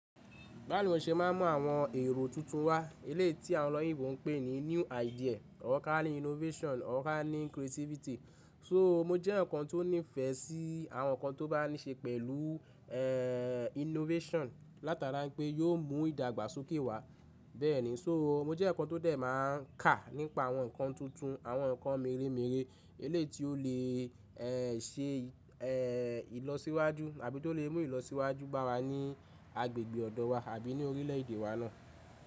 Bámi mo se máa mọ àwọn èrò tuntun wá elé tí àwọn ọlọ́yìnbo ń pè ní new idea, organic innovation, organic creativity. So mo jẹ́ èyàn kan tó nífẹ̀ẹ́ sí àwọn nǹkan tó bá ní ṣe pẹ̀lú eh innovation látara pé yóò mú ìdàgbàsókè wá. Bẹ́ẹ̀ni, so mo jẹ́ èyàn kan tó dẹ̀ máa ń kà nípa àwọn nǹkan tuntun, àwọn nǹkan mère mère èléyìí tí ó lè ṣe ìlọsíwájú àbí tó lè mú ìlọsíwájú bá wa ní agbègbè ọ̀dọ̀ wa àbí ni orílẹ̀èdè wa náà.